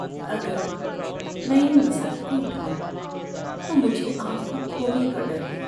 اگر میں ان مسائل کو اٹھاؤں تو مجھے آپ کو کھونے کا ڈر ہے۔